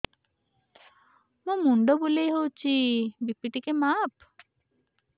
ମୋ ମୁଣ୍ଡ ବୁଲେଇ ହଉଚି ବି.ପି ଟିକେ ମାପ